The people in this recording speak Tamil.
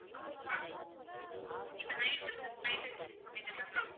இப்ப night ஒரு flight இருக்குன்னு சொன்னீங்கல்ல ma'am